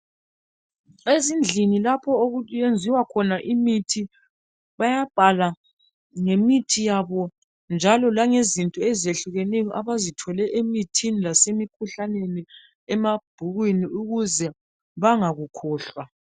Ezindlini lapho okuyenziwa khona imithi bayabhala ngemithi yabo njalo langezinto ezehlukeneyo abazithole emithini lasemikhuhlaneni emabhukwini ukuze bangakukhohlwa.